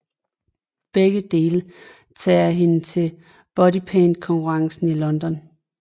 Begge dele tager hende til Bodypaint konkurrence i London